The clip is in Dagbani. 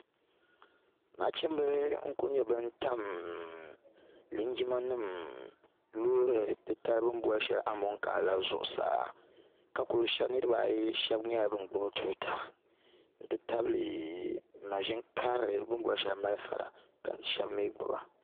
nachimbi n ku nyɛ bin tam linjima nim loori shɛli bini boli amokaa la zuɣusaa niraba ayi shab nyɛla bin gbubi tuuta n ti tabili maʒini karili bin boli shɛli malifa la ka shab mii gbuba